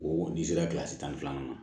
O n'i sera tan ni filanan na